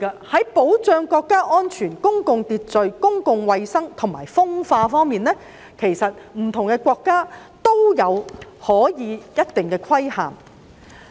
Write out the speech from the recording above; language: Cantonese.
在保障國家安全、公共秩序、公共衞生和風化方面，不同的國家可以作出一定的規限。